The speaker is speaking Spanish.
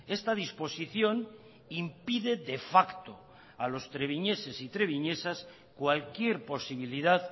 esta disposición impide de facto a los treviñeses y treviñesas cualquier posibilidad